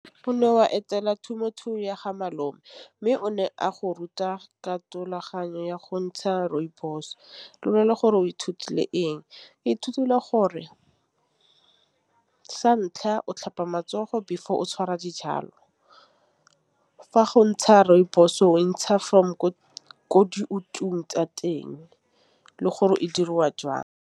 Go ne wa etela temothuo ya ga malome mme o ne a go ruta ka thulaganya ya go ntšha rooibos lgore o ithutile eng Ke ithutile gore sa ntlha o tlhopha matsogo before o tšhwara dijalo fa go ntšha rooibos-o o ntšha from ko tsa teng le gore e diriwa jang.??!???